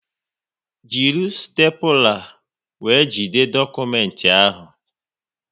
Jiri stepula wéré jide dokumenti ahụ!